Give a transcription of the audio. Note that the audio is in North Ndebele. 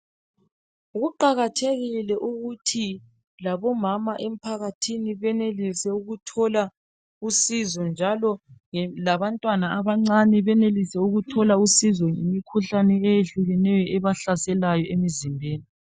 Kuqakathekile ukuthi labomama emphakathini benelise ukuthola usizo njalo labantwana abancane benelise ukuthola usizo emkhuhlaneni eyehlukeneyo ebahlaselayo emzimbeni